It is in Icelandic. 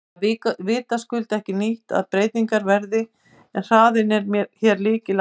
Það er vitaskuld ekki nýtt að breytingar verði en hraðinn er hér lykilatriði.